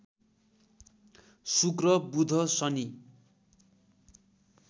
शुक्र बुध शनि